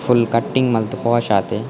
Full cutting ಮಂತ್ posh ಆತೆ.